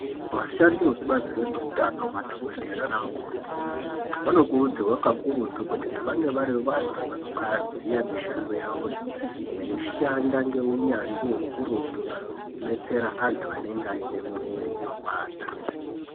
Vashandi vekubazi rezvehutano madhokodheya nana mukoti vanokurudzirwa kakurutu kuti vange vari vantu vanozuva mishando yawoyo zveishanda ngeunyanzvi ukurutu kudetsera antu anenge ane mwiri inopanda.